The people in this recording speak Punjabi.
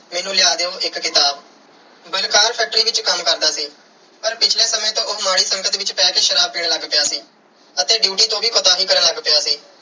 ਮੈਨੂੰ ਲਿਆ ਦਿਓ ਇੱਕ ਕਿਤਾਬ। ਬਲਕਾਰ factory ਵਿੱਚ ਕੰਮ ਕਰਦਾ ਸੀ ਪਰ ਪਿਛਲੇ ਸਮੇਂ ਤੋਂ ਉਹ ਮਾੜੀ ਸੰਗਤ ਵਿੱਚ ਪੈ ਕੇ ਸ਼ਰਾਬ ਪੀਣ ਲੱਗ ਪਿਆ ਸੀ ਅਤੇ ਡਿਊਟੀ ਤੋਂ ਵੀ ਕੁਤਾਹੀ ਕਰਨ ਲੱਗ ਪਿਆ ਸੀ।